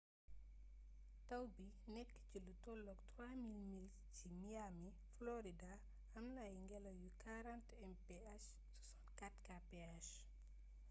tawbi nékk ci lutollook 3,000 miles ci miami florida amna ay gélaw yu 40 mph 64kph